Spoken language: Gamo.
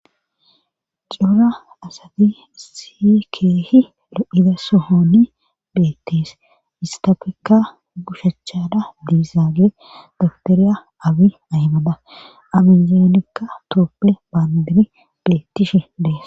cuura asati sii keehi lo7ida sohoni beettees istafekka gushachada diizaage dagteriya abi ahmada amizeanekka tooppe baandiri beettishi dees